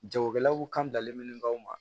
Jagokɛlaw kan dalen min kan